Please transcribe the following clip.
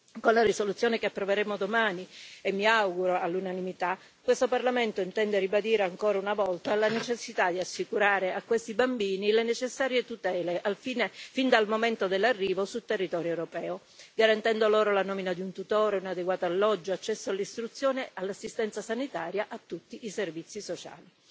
Con la risoluzione che approveremo domani, mi auguro all'unanimità, questo Parlamento intende ribadire ancora una volta la necessità di assicurare a questi bambini le necessarie tutele fin dal momento dell'arrivo sul territorio europeo, garantendo loro la nomina di un tutore, un adeguato alloggio e l'accesso all'istruzione, all'assistenza sanitaria, a tutti i servizi sociali.